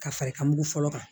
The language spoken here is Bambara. Ka fari ka mugu fɔlɔ kan